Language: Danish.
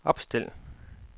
opstil